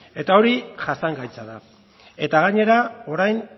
eta hori jasangaitza da eta gainera orain